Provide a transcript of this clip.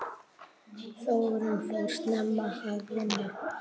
Þórunn fór snemma að vinna.